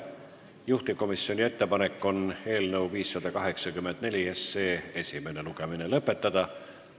Juhtivkomisjoni ettepanek on eelnõu 584 esimene lugemine lõpetada.